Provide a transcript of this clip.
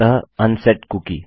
अतः unset cookie